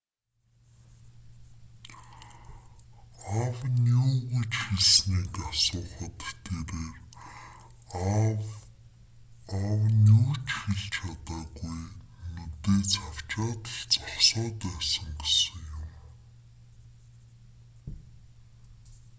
аав нь юу гэж хэлснийг асуухад тэрээр аав нь юу ч хэлж чадаагүй нүдээ цавчаад л зогсоод байсан гэсэн юм